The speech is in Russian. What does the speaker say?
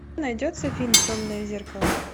найдется фильм темное зеркало